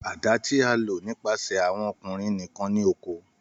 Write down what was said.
Àdá ti a lo nipasẹ awọn ọkunrin nikan ni oko.